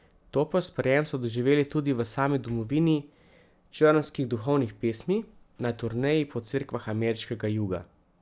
Topel sprejem so doživeli tudi v sami domovini črnskih duhovnih pesmi, na turneji po cerkvah ameriškega juga.